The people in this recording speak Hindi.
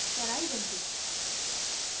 चराई बन्दी